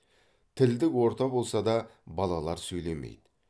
тілдік орта болса да балалар сөйлемейді